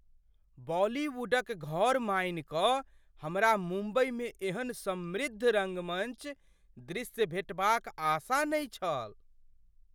बॉलीवुडक घर मानि कऽ हमरा मुंबईमे एहन समृद्ध रङ्गमञ्च दृश्य भेटबाक आशा नहि छल।